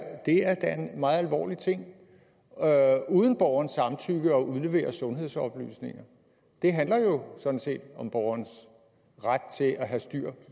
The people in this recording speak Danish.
da en meget alvorlig ting uden borgerens samtykke at udlevere sundhedsoplysninger det handler jo sådan set om borgerens ret til at have styr